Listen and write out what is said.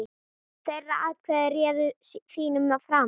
Þeirra atkvæði réðu þínum frama.